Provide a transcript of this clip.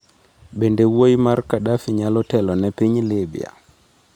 Bende wuoyi mar Kadafi nyalo telo ne piny Libya?